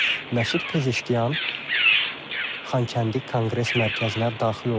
Məsud Pezeşkiyan Xankəndi Konqres Mərkəzinə daxil olur.